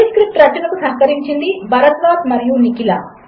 ఈ స్క్రిప్ట్ రచనకు సహకరించినది భరద్వాజ్ మరియు నిఖిల